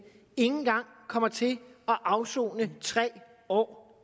engang kommer til at afsone tre år